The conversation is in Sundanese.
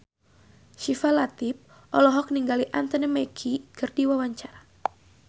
Syifa Latief olohok ningali Anthony Mackie keur diwawancara